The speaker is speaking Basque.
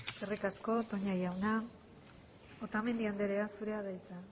eskerrik asko toña jauna otamendi andrea zurea da hitza